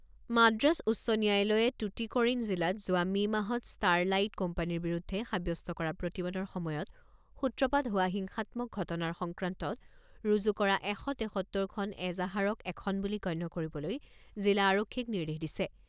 মাদ্ৰাছ উচ্চ ন্যায়ালয়ে টুটিকৰিন জিলাত যোৱা মে মাহত ষ্টাৰলাইট কোম্পানীৰ বিৰুদ্ধে সাব্যস্ত কৰা প্ৰতিবাদৰ সময়ত সূত্ৰপাত হোৱা হিংসাত্মক ঘটনাৰ সংক্ৰান্তত ৰুজু কৰা এশ তেসত্তৰখন এজাহাৰক এখন বুলি গণ্য কৰিবলৈ জিলা আৰক্ষীক নিৰ্দেশ দিছে।